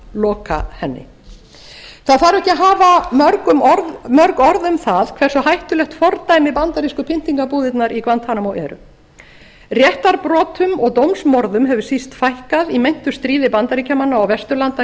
loka henni það þarf ekki að hafa mörg orð um það hversu hættulegt fordæmi bandarísku pyndingabúðirnar í guantanamo eru réttarbrotum og dómsmorðum hefur síst fækkað í meintu stríði bandaríkjamanna og vesturlanda